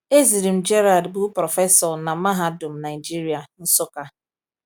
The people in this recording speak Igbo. "Ezirim Gerald bụ prọfesọ na Mahadum Nigeria, Nsukka."